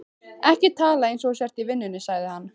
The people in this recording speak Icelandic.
Ekki tala eins og þú sért í vinnunni, sagði hann.